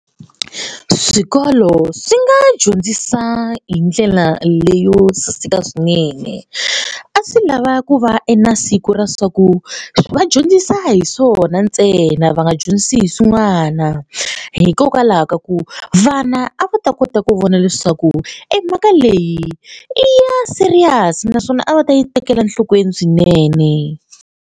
Swikolo swi nga dyondzisa hi ndlela leyo saseka swinene. A swi lava ku va e na siku ra swa ku va dyondzisa hi swona ntsena a va dyondzisi hi swin'wana hikokwalaho ka ku vana a va ta kota ku vona leswaku emhaka leyi i ya serious naswona a va ta yi tekela enhlokweni swinene.